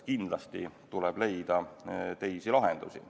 Kindlasti tuleb leida teisi lahendusi.